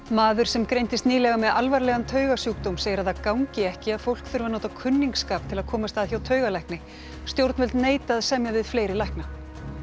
maður sem greindist nýlega með alvarlegan segir að það gangi ekki að fólk þurfi að nota kunningsskap til að komast að hjá taugalækni stjórnvöld neita að semja við fleiri lækna